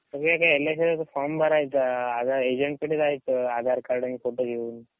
L I C चा form भरायचा, एजेंटकडे आधा जायचं आधार कार्ड आणि फोटो घेऊन.